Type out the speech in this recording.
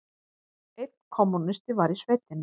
Einn kommúnisti var í sveitinni.